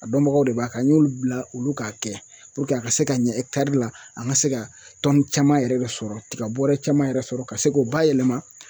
A dɔnbagaw de b'a k'an y'olu bila olu k'a kɛ a ka se ka ɲɛ la an ŋa se ka caman yɛrɛ de sɔrɔ tiga bɔrɛ caman yɛrɛ sɔrɔ ka se k'o bayɛlɛma